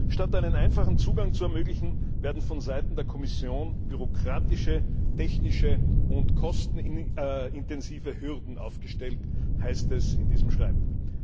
Statt einen einfachen Zugang zu ermöglichen, werden von Seiten der Kommission bürokratische, technische und kostenintensive Hürden aufgestellt, heißt es in diesem Schreiben.